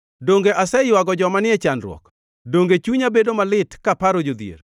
Donge aseywago joma ni e chandruok? Donge chunya bedo malit kaparo jodhier?